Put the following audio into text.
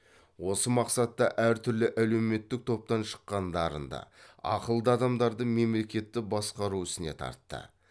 осы мақсатта әр түрлі әлеуметтік топтан шыққан дарынды ақылды адамдарды мемлекетті басқару ісіне тартты